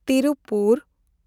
Tiruppur